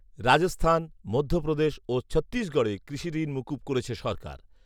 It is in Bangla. রাজস্থান, মধ্যপ্রদেশ ও ছত্তিশগড়ে কৃষঋণ মুকুব করেছে সরকার